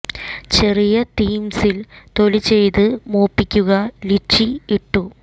ചെറിയ തിംസ് ൽ തൊലി ചെയ്ത് മൂപ്പിക്കുക ലിച്ചി ഇട്ടു